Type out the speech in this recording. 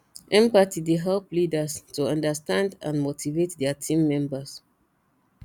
empathy dey help leaders to understand and motivate dia team members